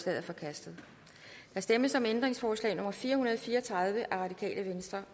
er forkastet der stemmes om ændringsforslag nummer fire hundrede og fire og tredive